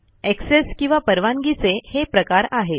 access किंवा परवानगीचे हे प्रकार आहेत